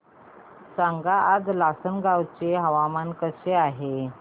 सांगा आज लासलगाव चे हवामान कसे आहे